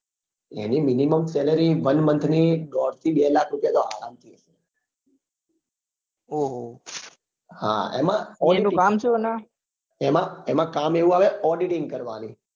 એની minimum salaryone month ની દોડ થી બે લાખ રૂપિયા તો આરામ થી એમાં કામ એવું આવે auditing કરવા ની